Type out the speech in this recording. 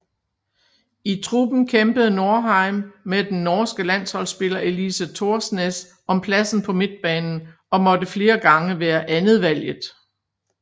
I truppen kæmpede Norheim med den norske landsholdspiller Elise Thorsnes om pladsen på midtbanen og måtte flere gange være andetvalget